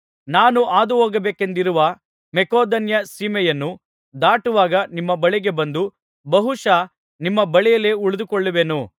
ನಾನು ಹಾದುಹೋಗಬೇಕೆಂದಿರುವ ಮಕೆದೋನ್ಯ ಸೀಮೆಯನ್ನು ದಾಟುವಾಗ ನಿಮ್ಮ ಬಳಿಗೆ ಬಂದು ಬಹುಶಃ ನಿಮ್ಮ ಬಳಿಯಲ್ಲೇ ಉಳಿದುಕೊಳ್ಳುವೆನು